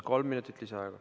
Kolm minutit lisaaega.